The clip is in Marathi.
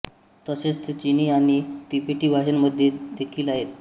तसेच ते चिनी आणि तिबेटी भाषांमध्ये देखील आहेत